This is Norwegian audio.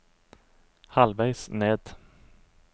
halvveis ned